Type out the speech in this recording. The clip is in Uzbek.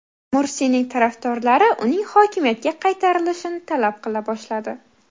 Mursiyning tarafdorlari uning hokimiyatga qaytarilishini talab qila boshladi.